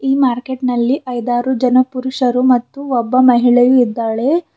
ಈ ಮಾರ್ಕೆಟ್ನಲ್ಲಿ ಐದಾರು ಜನ ಪುರುಷರು ಮತ್ತು ಒಬ್ಬ ಮಹಿಳೆಯು ಇದ್ದಾಳೆ.